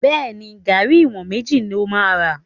Bẹ́ẹ̀ni, garri ìwọ̀n méjì ló máa ra.